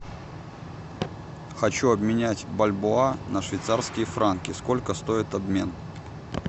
хочу обменять бальбоа на швейцарские франки сколько стоит обмен